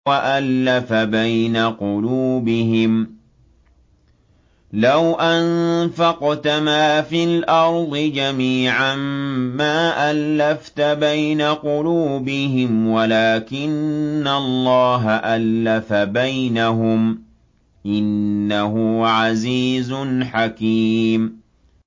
وَأَلَّفَ بَيْنَ قُلُوبِهِمْ ۚ لَوْ أَنفَقْتَ مَا فِي الْأَرْضِ جَمِيعًا مَّا أَلَّفْتَ بَيْنَ قُلُوبِهِمْ وَلَٰكِنَّ اللَّهَ أَلَّفَ بَيْنَهُمْ ۚ إِنَّهُ عَزِيزٌ حَكِيمٌ